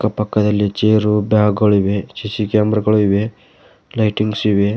ಆ ಪಕ್ಕದಲ್ಲಿ chair bag ಗಳಿಗೆ ಸಿ_ಸಿ ಕ್ಯಾಮೆರಾ ಗಳಿವೆ ಲೈಟಿಂಗ್ ಸೇವೆ.